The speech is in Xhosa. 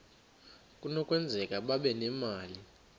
kunokwenzeka babe nemali